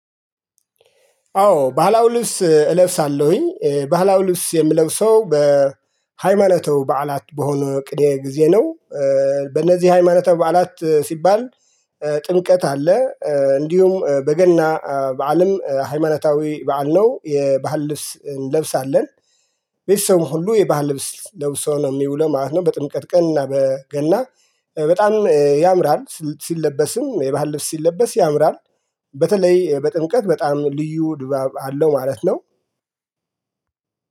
አዎ ባህላዊ ልብስ እለብሳለሁኝ ባህላዊ ልብስ የምለው ሰው በሃይማኖታዊ በዓላት በሆነ ጊዜ ነው። በእነዚህ ሃይማኖታዊ በዓላት ሲባል ጥምቀት አለ። እንዲሁም በገና በዓልም ሃይማኖታዊ በዓል ነው የባህል ልብስ እንለብሳለን። ቤተሰሰ ሁሉ የባህል ልብስ ለብሶ ነው የሚውለው ማለት ነው። በጥምቀት ቀን እና በገና በጣም ያምራል ሲለበስም የባህል ልብስ ሲለበስ ያምራል። በተለይ በጥምቀት በጣም ልዩ ድባብ አለው ማለት ነው።